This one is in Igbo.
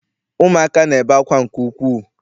Ụmụaka na-ebe akwa nke ukwuu.